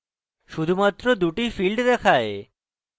শুধুমাত্র দুটি fields দেখায়